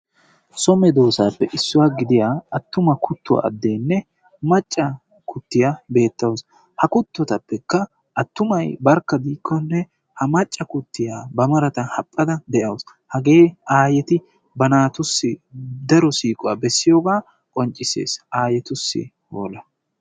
So medoosappe issuwa gidiyaa attuma kuttuwa addenne maccaa kuuttiya beettaasu, attumma kuttoy barkka diikkone macca kuttiya ba marata haphphada diyooga daa'awus. hage aayyeeti ba naatussi siiquwa beessees qonccissees. aayyetussi hoola!